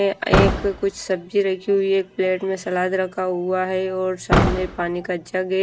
एक कुछ सब्जी रखी हुई है एक प्लेट में सलाद रखा हुआ है और सामने पानी का जग है।